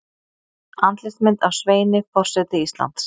Andlitsmynd af Sveini Forseti Íslands.